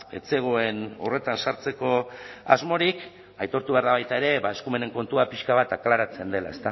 ez zegoen horretan sartzeko asmorik aitortu behar da baita ere eskumenen kontua pixka bat aklaratzen dela